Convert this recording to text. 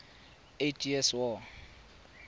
eighty years war